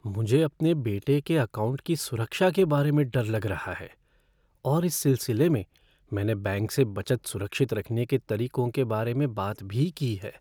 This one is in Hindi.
मुझे अपने बेटे के अकाउंट की सुरक्षा के बारे में डर लग रहा है और इस सिलसिले में मैंने बैंक से बचत सुरक्षित रखने के तरीकों के बारे में बात भी की है।